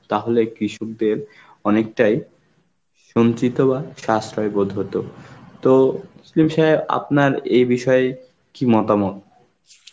তাহলে কৃষকদের অনেকটাই সঞ্চিত বা শ্বাসরয় বোধ হতো. তো তসলিম সাহেব আপনার এই বিষয় কি মতামত?